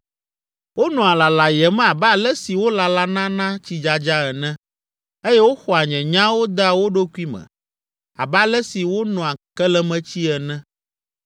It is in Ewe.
Wonɔa lalayem abe ale si wolalana na tsidzadza ene eye woxɔa nye nyawo dea wo ɖokui me abe ale si wonoa kelemetsi ene.